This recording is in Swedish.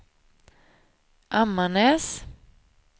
Ammarnäs